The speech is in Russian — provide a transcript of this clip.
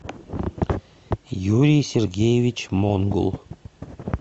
юрий сергеевич монгул